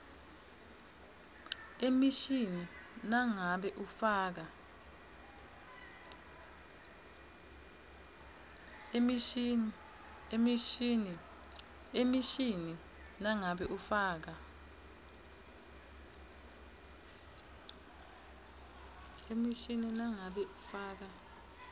emishini nangabe ufaka